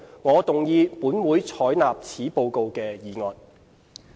我動議"本會採納此報告"的議案。